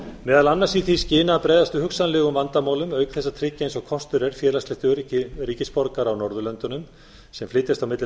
meðal annars í því skyni að bregðast við hugsanlegum vandamálum auk þess að tryggja eins og kostur er félagslegt öryggi ríkisborgara á norðurlöndunum sem flytjast á milli